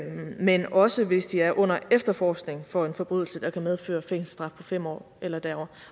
men også hvis de er under efterforskning for en forbrydelse der kan medføre fængselsstraf på fem år eller derover